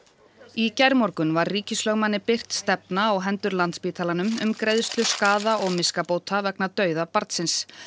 í gærmorgun var ríkislögmanni birt stefna á hendur Landspítalanum um greiðslu skaða og miskabóta vegna dauða barnsins